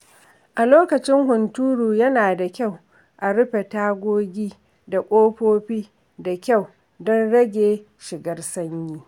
A lokacin hunturu, yana da kayu a rufe tagogi da kofofi da kyau don rage shigar sanyi.